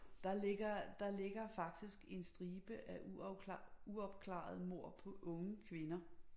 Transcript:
Der ligger der ligger faktisk en stribe af uopklarede mord på unge kvinder